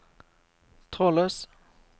trådløs